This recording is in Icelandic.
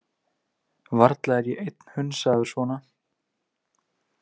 Varla er ég einn hunsaður svona.